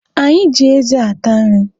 Anyị ji eze ata nri.